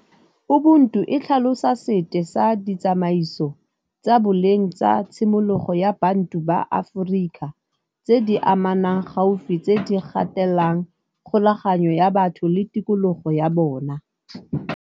Ubuntu e tlhalosa sete sa ditsamaiso tsa boleng tsa tshimologo ya bantu ba Aforika, tse di amanang gaufi tse di gatelang kgolaganyo ya batho le tikologo ya bona.